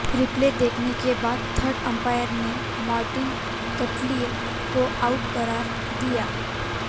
replay देखने के बाद थर्ड अंपायर ने मार्टिन गप्टिल को आउट करार दिया